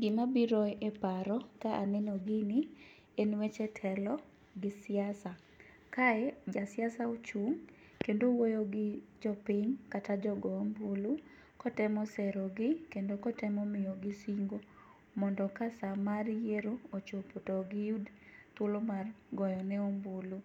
Gimabiro e paro ka aneno gini en weche telo gi siasa. kae jasiasa ochung' kendo owuoyo gi jopiny kata jogo ombulu, kotemo serogi kendo kotemo miyogi singo mondo ka sa mar yierop ochopo to giyud thuolo mar goyone ombulu.